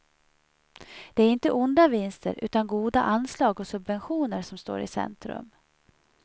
Det är inte onda vinster utan goda anslag och subventioner som står i centrum.